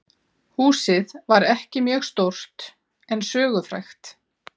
Húsið var ekki mjög stórt en sögufrægt.